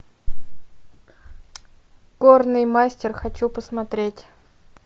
горный мастер хочу посмотреть